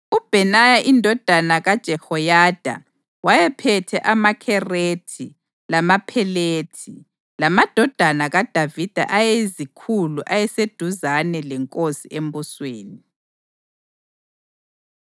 uBhenaya indodana kaJehoyada wayephethe amaKherethi lamaPhelethi, lamadodana kaDavida ayeyizikhulu ayeseduzane lenkosi embusweni.